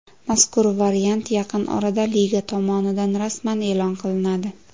Mazkur variant yaqin orada liga tomonidan rasman e’lon qilinadi.